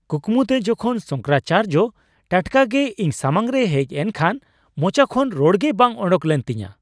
ᱠᱩᱠᱢᱩᱛᱮ ᱡᱚᱠᱷᱚᱱ ᱥᱚᱝᱠᱚᱨᱟᱪᱟᱨᱡᱚ ᱴᱟᱴᱠᱟᱜᱮ ᱤᱧ ᱥᱟᱢᱟᱝ ᱨᱮᱭ ᱦᱮᱡ ᱮᱱᱠᱷᱟᱱ ᱢᱚᱪᱟ ᱠᱷᱚᱱ ᱨᱚᱲᱜᱮ ᱵᱟᱝ ᱳᱰᱳᱠ ᱞᱮᱱ ᱛᱤᱧᱟᱹ ᱾